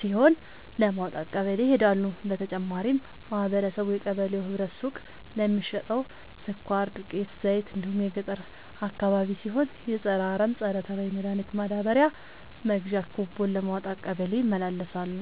ሲሆን ለማውጣት ቀበሌ ይሄዳሉ። በተጨማሪም ማህበረቡ የቀበሌው ህብረት ሱቅ ለሚሸተው ስኳር፣ ዱቄት፣ ዘይት እንዲሁም ገጠር አካባቢ ሲሆን የፀረ አረም፣ ፀረተባይ መድሀኒት ማዳበሪያ መግዣ ኩቦን ለማውጣት ቀበሌ ይመላለሳሉ።